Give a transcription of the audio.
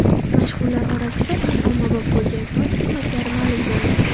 Mashhurlar orasida eng ommabop bo‘lgan soch turmaklari ma’lum bo‘ldi.